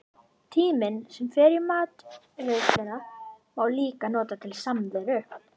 Tímann sem fer í matreiðsluna má líka nota til samveru.